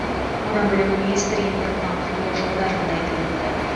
одан бөлек министр импорттан құтылу жолдарын да айтып өтті